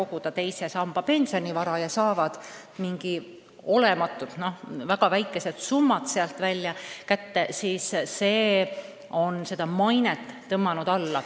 Nüüd saavad nad pensionile juurde mingeid peaaegu olematuid, väga väikesi summasid ja seegi on seda mainet alla tõmmanud.